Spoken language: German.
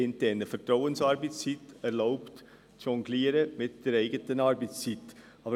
Eine Vertrauensarbeitszeit erlaubt mit der eigenen Arbeitszeit zu jonglieren.